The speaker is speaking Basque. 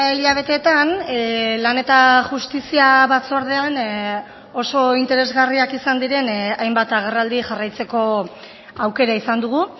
hilabeteetan lan eta justizia batzordean oso interesgarriak izan diren hainbat agerraldi jarraitzeko aukera izan dugu